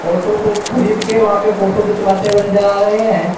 Auto को खरीद के वहां पे फोटो खिंचवाते हुए नजर आ रहे हैं।